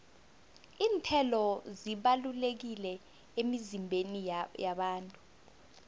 iinthelo zibalulekile emizimbeni yabantu